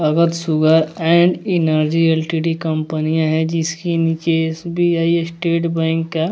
Our sure and energy LTD company है जिसकी नीचे एस_बी_आई स्टेट बैंक का।